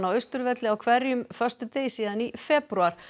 Austurvelli á hverjum föstudegi síðan í febrúar